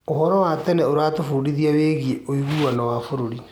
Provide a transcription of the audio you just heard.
ũhoro wa tene ũratũbundithia wĩgiĩ ũiguano wa bũrũri.